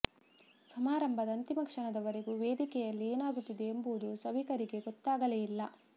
ಸಮಾರಂಭದ ಅಂತಿಮ ಕ್ಷಣದವರೆಗೂ ವೇದಿಕೆಯಲ್ಲಿ ಏನಾಗುತ್ತಿದೆ ಎಂಬುದು ಸಭಿಕರಿಗೆ ಗೊತ್ತಾಗಲೇ ಇಲ್ಲ